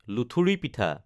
লুথুৰি পিঠা